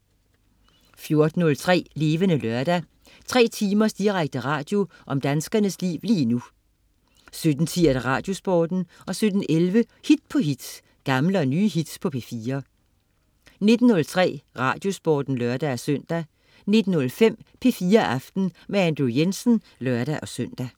14.03 Levende Lørdag. 3 timers direkte radio om danskernes liv lige nu 17.10 Radiosporten 17.11 Hit på hit. Gamle og nye hits på P4 19.03 Radiosporten (lør-søn) 19.05 P4 Aften. Andrew Jensen (lør-søn)